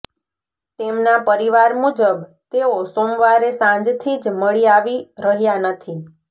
તેમના પરિવાર મુજબ તેઓ સોમવારે સાંજથી જ મળી આવી રહ્યા નથી